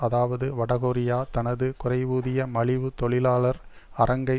அதாவது வட கொரியா தனது குறைவூதிய மலிவு தொழிலாளர் அரங்கை